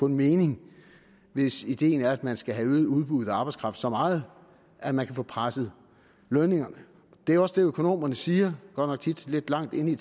mening hvis ideen er at man skal have øget udbuddet af arbejdskraft så meget at man kan få presset lønningerne det er også det økonomerne siger godt nok tit lidt langt nede i